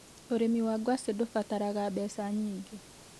Urĩmi wa ngwacĩ ndũbataraga mbeca nyingĩ.